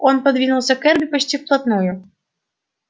он подвинулся к эрби почти вплотную